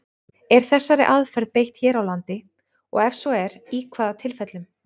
Er þessari aðferð beitt hér á landi, og ef svo er, í hvaða tilfellum?